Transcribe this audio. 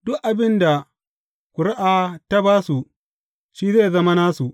Duk abin da ƙuri’a ta ba su, shi zai zama nasu.